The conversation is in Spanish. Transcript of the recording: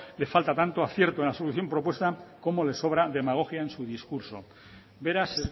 le falta tanto acierto en la solución propuesta como le sobra demagogia en su discurso beraz